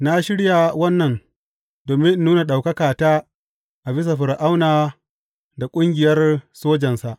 Na shirya wannan domin in nuna ɗaukakata a bisa Fir’auna da ƙungiyar sojansa.